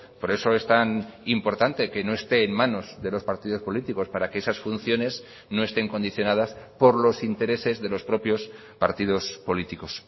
por eso es tan importante que no esté en manos de los partidos políticos para que esas funciones no estén condicionadas por los intereses de los propios partidos políticos